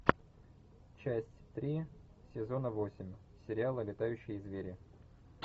часть три сезона восемь сериала летающие звери